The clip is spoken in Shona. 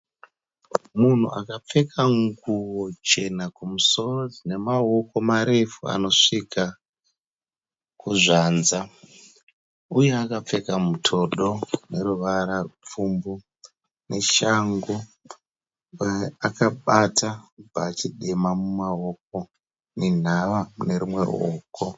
Munhu akapfeka nguwo chena kumusoro dzine maoko marefu anosvika kuzvatsa uye akapfeka mutodo une ruvara rupfumbu neshangu. Akabata bhachi dema mumaoko nenhava mune rumwe ruoko.